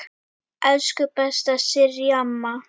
Elsku besta Sirrý amma.